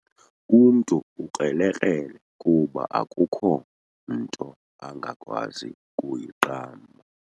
Umntu ukrelekrele kuba akukho nto angakwazi kuyiqamba.